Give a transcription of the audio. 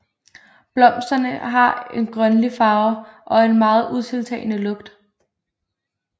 Blomsterne har en grønlig farve og en meget utiltalende lugt